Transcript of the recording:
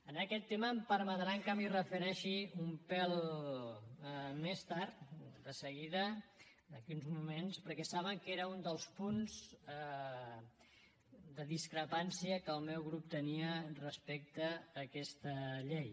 a aquest tema em permetran que m’hi refereixi un pèl més tard de seguida d’aquí a uns moments perquè saben que era un dels punts de discrepància que el meu grup tenia respecte a aquesta llei